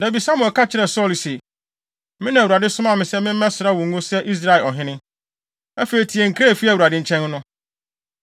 Da bi Samuel ka kyerɛɛ Saulo se, “Me na Awurade somaa me sɛ memmɛsra wo ngo sɛ Israel ɔhene. Afei tie nkra a efi Awurade nkyɛn no.